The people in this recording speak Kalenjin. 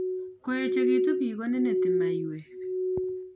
Koechekitu biik ko neneti maiywek